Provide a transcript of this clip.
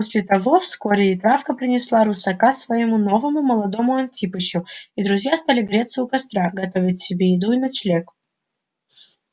после того вскоре и травка принесла русака своему новому молодому антипычу и друзья стали греться у костра готовить себе еду и ночлег